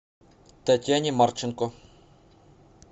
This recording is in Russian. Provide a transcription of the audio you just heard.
татьяне марченко